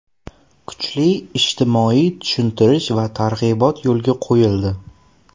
Kuchli ijtimoiy tushuntirish va targ‘ibot yo‘lga qo‘yildi.